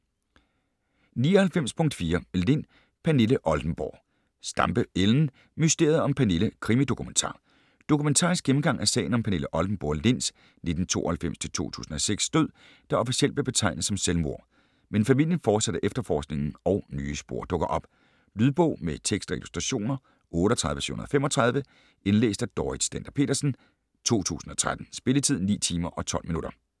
99.4 Lind, Pernille Oldenborg Stampe, Ellen: Mysteriet om Pernille: krimi-dokumentar Dokumentarisk gennemgang af sagen om Pernille Oldenborg Linds (1992-2006) død, der officielt bliver betegnet som selvmord. Men familien fortsætter efterforskningen og nye spor dukker op. Lydbog med tekst og illustrationer 38735 Indlæst af Dorrit Stender-Petersen, 2013. Spilletid: 9 timer, 12 minutter.